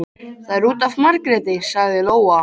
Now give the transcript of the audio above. Það er út af Margréti, sagði Lóa.